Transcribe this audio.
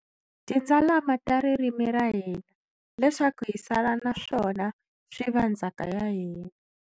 Tindzalama ta ririmi ra hina, leswaku hi sala na swona swi va ndzhaka ya hina.